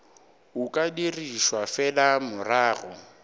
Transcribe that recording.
o ka dirišwa fela morago